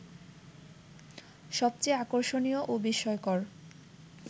সবচেয়ে আকর্ষণীয় ও বিস্ময়কর